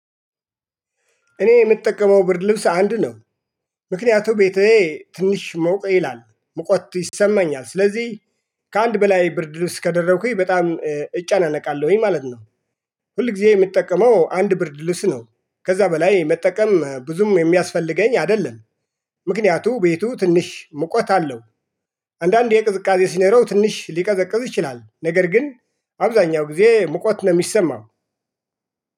እኔ የምጠቀመው ብርድ ልብስ አንድ ነው። ምክንያቱ ቤቴ ትንሽ ሞቅ ይላል ሙቀት ይሰማኛል ስለዚህ ከአንድ በላይ ብርድ ልብስ ከደረብኩኝ በጣም እጨናነቃለሁኝ ማለት ነው። ሁል ጊዜ የምጠቀመው አንድ ብርድ ልብስ ነው። ከዛ በላይ መጠቀም ብዙም የሚያስፈልገኝ አይደለም። ምክንያቱ ቤቱ ትንሽ ሙቀት አለው። አንዳንዴ ቅዝቃዜ ሲነረው ትንሽ ሊቀዘቅዝ ይችላል። ነገር ግን አብዛኛው ጊዜ ሙቀት ነው የሚሰማው